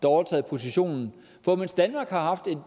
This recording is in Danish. overtaget positionen for mens danmark har haft et